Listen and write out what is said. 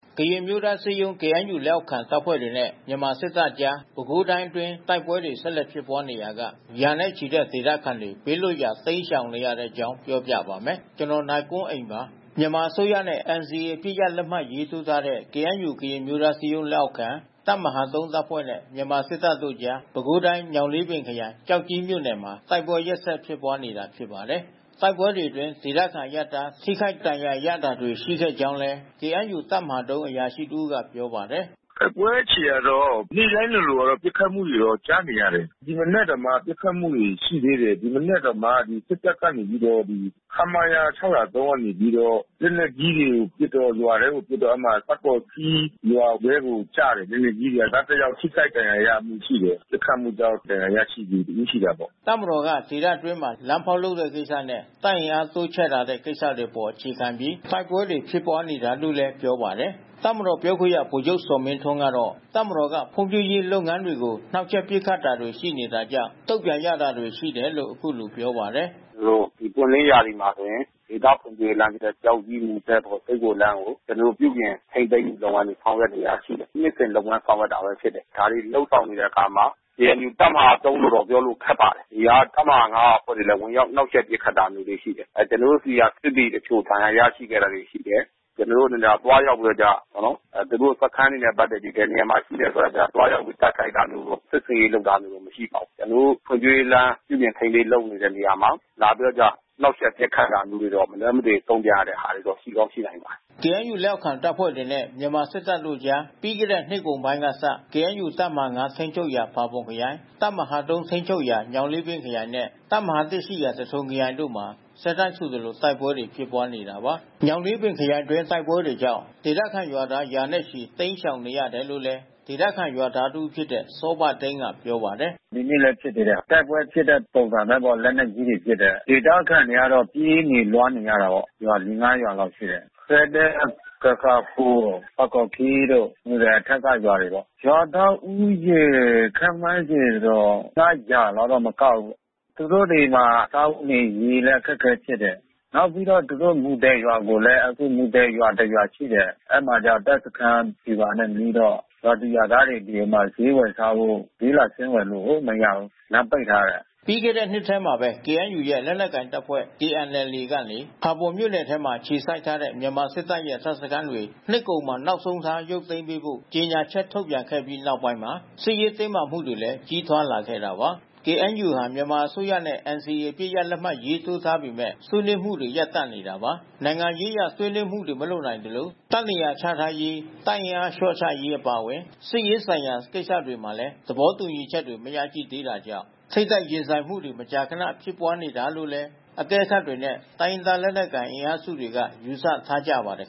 ကရင်အမျိုးသားအစည်းအရုံး KNU လက်အောက်ခံ တပ်ဖွဲ့တွေနဲ့ မြန်မာစစ်တပ် အကြား ပဲခူးတိုင်းအတွင်း တိုက်ပွဲတွေ ဆက်လက် ဖြစ်ပွားနေရာက ရာနဲ့ချီတဲ့ ဒေသခံတွေ ဘေးလွတ်ရာ တိမ်းရှောင်နေရတဲ့အကြောင်းပြောပြပါမယ်။ ဗွီအိုအေမြန်မာပိုင်းသတင်းထောက် ကိုနိုင်ကွန်းအိန်က သတင်းပေးပို့ထားပါတယ်။ မြန်မာအစိုးရနဲ့ NCA အပစ်ရပ်လက်မှတ်ရေးထိုးထားတဲ့ KNU ကရင်အမျိုးသားအစည်းအရုံးလက်အောက်ခံ တပ်မဟာ ၃ တပ်ဖွဲ့နဲ့ မြန်မာစစ်တပ်တို့အကြား ပဲခူးတိုင်း၊ ညောင်လေးပင်ခရိုင် ကျောက်ကြီးမြို့နယ်မှာ တိုက်ပွဲရက်ဆက် ဖြစ်ပွါးနေတာ ဖြစ်ပါတယ်။ တိုက်ပွဲတွေအတွင်း ဒေသခံအရပ်သား ထိခိုက်ဒဏ်ရာရတာတွေ ရှိခဲ့ကြောင်းလည်း KNU တပ်မဟာ ၃ အရာရှိတဦးကပြောပါတယ်။ “တိုက်ပွဲအခြေအနေကတော့ နေ့တိုင်းလိုလိုကတော့ ပစ်ခတ်မှုတွေတော့ ကြားနေရတယ်။ ဒီမနက်တောင်မှ ပစ်ခတ်မှုတွေ ရှိသေးတယ်။ ဒီမနက်တောင်မှ စစ်တပ်ကနေ ပြီးတော့ ခမရ ၆၀၃ ကနေပြီးတော့ လက်နက်ကြီးတွေပစ်တော့ ရွာထဲကို ပစ်တော့ အဲဒီမှာ တာ့ပေါ်ခီးရွာထဲကိုကျတယ်.. လက်နက်ကြီး။ ရွာသားတယောက် ထိခိုက်ဒဏ်ရာရမှု ရှိတယ်။ ပစ်ခတ်မှုကြောင့် ဒဏ်ရာရသူတဦးရှိတာပေါ့။” တပ်မတော်က ဒေသတွင်းမှာ လမ်းဖေါက်လုပ်တဲ့ကိစ္စနဲ့ တပ်အင်အားတိုးချဲ့လာတဲ့ ကိစ္စတွေအပေါ် အခြေခံပြီး တိုက်ပွဲတွေ ဖြစ်ပွားနေတာလို့လည်း ပြောပါတယ်။ တပ်မတော်ပြောခွင့်ရ ဗိုလ်ချုပ်ဇော်မင်းထွန်းကတော့ တပ်မတော်က ဖွံ့ဖြိုးရေးလုပ်ငန်းတွေကို နှောက်ယှက်ပစ်ခတ်မှုတွေ ရှိနေတာကြောင့် တုံ့ပြန်ရတာတွေ ရှိတယ်လို့ အခုလိုပြောပါတယ်။ “ကျနော်တို့ ပွင့်လင်းရာသီမှာဆိုရင် ဒေသဖွံ့ဖြိုးရေးလမ်း ကျောက်ကြီး -မူသဲ လုပ်ဖို့လမ်းကို ကျနော်တို့ ပြုပြင်ထိန်းသိမ်းဆောင်ရွက်နေတာဖြစ်တယ်။ နှစ်စဉ်လုပ်ငန်းဆောင်ရွက်နေတာဖြစ်တယ်။ ဒါတွေ လုပ်ဆောင်နေတဲ့အခါမှာ KNU တပ်မဟာ ၃ လို့ ပြောဖို့ခက်ပါတယ်။ ဒီဟာက တပ်မဟာ ၅ က အဖွဲ့တွေလဲ ဝင်ရောက်နှောင့်ယှက်ပစ်ခတ်တာမျိုးတွေရှိတယ်။ ကျနော်တို့ဆီက စစ်သည်တချို့ ဒဏ်ရာရရှိခဲ့တာ ရှိတယ်။ ကျနော်တို့အနေနဲ့က သူတို့ စခန်းတွေနဲ့ ပတ်သက်ပြီး ဘယ်နေရာမှာ ရှိတယ်ဆိုတာ သွားရောက်ပြီး တိုက်ခိုက်တာမျိုးတို့ စစ်ဆင်ရေးလုပ်တာမျိုးတို့ မရှိပါဘူး။ ကျနော်တို့ ဖွံ့ဖြိုးရေးလမ်း ပြုပြင်ထိန်းသိမ်း လုပ်နေတဲ့နေရာမှာ လာပြီးတော့ နှောင့်ယှက်ပစ်ခတ်တာမျိုးတွေတော့ မလွှဲမသွေ တုံ့ပြန် ရတဲ့ဟာတွေတော့ ရှိကောင်းရှိနိုင်ပါတယ်။” KNU လောက်အောက်ခံ တပ်ဖွဲ့တွေနဲ့ မြန်မာစစ်တပ်တို့ကြား ပြီးခဲ့တဲ့နှစ်ကုန်ပိုင်းကစ KNU တပ်မဟာ ၅ ထိန်းချုပ်ရာ ဖာပွန်ခရိုင်၊ တပ်မဟာ ၃ ထိန်းချုပ်ရာ ညောင်လေးပင်ခရိုင်နဲ့ တပ်မ ၁ ရှိရာ သထုံခရိုင်တို့မှာ ဆက်တိုက်ဆိုသလို တိုက်ပွဲတွေ ဖြစ်ပွားနေတာပါ။ ညောင်လေးပင်ခရိုင်အတွင်း တိုက်ပွဲတွေကြောင့် ဒေသခံရွာသား ရာနဲ့ချီ တိမ်းရှောင်နေရတယ်လို့လည်း ဒေသခံရွာသားတဦးဖြစ်တဲ့ စောဘသိန်းက ပြောပါတယ်။ “ဒီနေ့လည်းဖြစ်တယ်... တိုက်ပွဲဖြစ်တဲ့ပုံပါပဲ လက်နက်ကြီးတွေပစ်တယ်။ ဒေသခံတွေကတော့ပြေးနေလွှားနေရတာပေါ့။ ရွာ ၄၊ ၅ ရွာလောက်ရှိတယ်။ ခဲဒဲ၊ ခဲကာခို၊ တာ့ကော်ခီးတို့ မူသဲအထက်က ရွာတွေပေါ့။ ရွာသားဦးရေ ခန့်မှန်းခြေ ၅၀၀ လောက်တော့မကဘူး။ သူတို့တွေမှာ စားဝတ်နေရေးလည်း အခက်ခဲဖြစ်တယ်။ နောက်ပြီးတော့ သူတို့ မူသဲရွာကိုလည်း မူသဲရွာတရွာရှိတယ်။ အဲဒီမှာ တပ်စခန်းဗျူဟာနဲ့နီးတော့ ရွာသူရွာသားတွေအပြင်မှာ ဈေးဝယ်စားဖို့ ဈေးလာဆင်းဝယ်လို့ကိုမရဘူး။ လမ်းပိတ်ထားတယ်။” ပြီးခဲ့တဲ့နှစ်ထဲမှာပဲ KNU ရဲ့ လက်နက်ကိုင်တပ်ဖွဲ့ KNLA က ဖာပွန်မြို့နယ်မှာ အခြေစိုက်ထားတဲ့ မြန်မာစစ်တပ်ရဲ့ တပ်စခန်းတွေ နှစ်ကုန်မှာ နောက်ဆုံးထား ရုပ်သိမ်းပေးဖို့ ကြေညာချက်ထုတ်ပြန်ခဲ့ပြီး နောက်ပိုင်းမှာ စစ်ရေးတင်းမာမှုတွေလည်း ကြီးထွားလာခဲ့တာပါ။ KNU ဟာ မြန်မာအစိုးရနဲ့ NCA အပစ်ရပ်လက်မှတ်ရေးထိုးထားပေမဲ့ ဆွေးနွေးမှုတွေ ရပ်တန့်နေတာပါ။ နိုင်ငံရေးအရ ဆွေးနွေးမှုတွေ မလုပ်နိုင်သလို၊ တပ်နေရာချထားရေး၊ တပ်အင်အားလျှော့ချရေး အပါအဝင် စစ်ရေးဆိုင်ရာ ကိစ္စတွေမှာလည်း သဘောတူညီချက်တွေ မရရှိသေးတာကြောင့် ထိပ်တိုက်ရင်ဆိုင်မှုတွေ မကြာခဏ ဖြစ်ပွားနေရတာလို့လည်း အကဲခတ်တွေနဲ့ တိုင်းရင်းသား လက်နက်ကိုင် အင်အားစုတွေက ယူဆထားကြပါတယ်